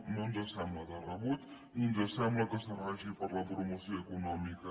no ens sembla de rebut ni ens sembla que serveixi per a la promoció econòmica